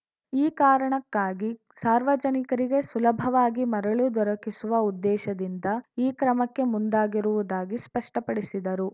ಈ ಕಾರಣಕ್ಕಾಗಿ ಸಾರ್ವಜನಿಕರಿಗೆ ಸುಲಭವಾಗಿ ಮರಳು ದೊರಕಿಸುವ ಉದ್ದೇಶದಿಂದ ಈ ಕ್ರಮಕ್ಕೆ ಮುಂದಾಗಿರುವುದಾಗಿ ಸ್ಪಷ್ಟಪಡಿಸಿದರು